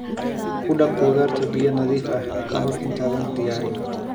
Ku dhaq khudaarta biyo nadiif ah ka hor intaadan diyaarin.